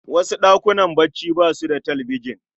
Wasu ɗakunan bacci basu da talbijan.